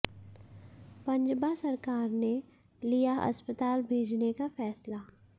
पंजबा सरकार ने लिया अस्पताल भेजने का फैसला